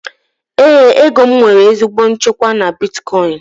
Éè, ego m nwere ezigbo nchekwa na bitkọin